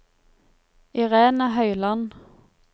Irene Høyland